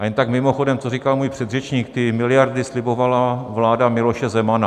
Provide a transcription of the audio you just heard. A jen tak mimochodem, co říkal můj předřečník: ty miliardy slibovala vláda Miloše Zemana.